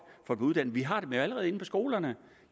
få dem uddannet vi har dem jo allerede inde på skolerne